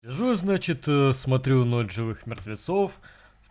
сижу значит смотрю ночь живых мертвецов